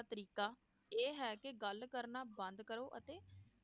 ਤਰੀਕਾ ਇਹ ਹੈ ਕਿ ਗੱਲ ਕਰਨਾ ਬੰਦ ਕਰੋ ਅਤੇ